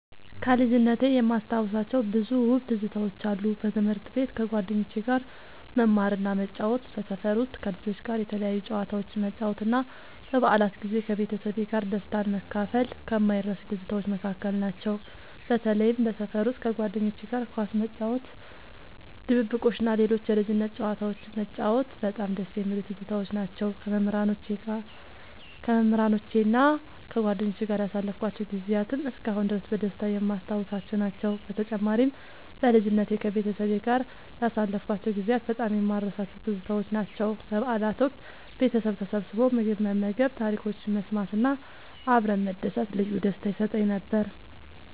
ከልጅነቴ የማስታውሳቸው ብዙ ውብ ትዝታዎች አሉ። በትምህርት ቤት ከጓደኞቼ ጋር መማርና መጫወት፣ በሰፈር ውስጥ ከልጆች ጋር የተለያዩ ጨዋታዎችን መጫወት እና በበዓላት ጊዜ ከቤተሰቤ ጋር ደስታን መካፈል ከማይረሱኝ ትዝታዎች መካከል ናቸው። በተለይም በሰፈር ውስጥ ከጓደኞቼ ጋር ኳስ መጫወት፣ ድብብቆሽ እና ሌሎች የልጅነት ጨዋታዎችን መጫወት በጣም ደስ የሚሉኝ ትዝታዎች ናቸው። ከመምህራኖቼና ከጓደኞቼ ጋር ያሳለፍኳቸው ጊዜያትም እስካሁን ድረስ በደስታ የማስታውሳቸው ናቸው። በተጨማሪም፣ በልጅነቴ ከቤተሰቤ ጋር ያሳለፍኳቸው ጊዜያት በጣም የማልረሳቸው ትዝታዎች ናቸው። በበዓላት ወቅት ቤተሰብ ተሰብስቦ ምግብ መመገብ፣ ታሪኮችን መሰማት እና አብረን መደሰት ልዩ ደስታ ይሰጠኝ ነበር።